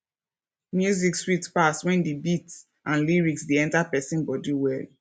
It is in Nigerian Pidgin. music sweet pass when the beat and lyrics dey enter person body well